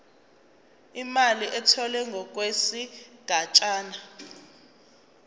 imali etholwe ngokwesigatshana